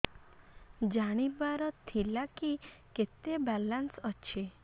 ଜାଣିବାର ଥିଲା କି କେତେ ବାଲାନ୍ସ ଅଛି